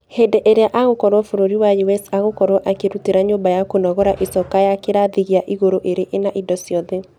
Hĩndĩ ĩrĩa agokorwo bũrũri wa us agokorwo akĩrutĩra nyũmba ya kũnogora icoka ya kĩrathi gĩa igũrũ ĩrĩ ĩna ĩndo ciothe.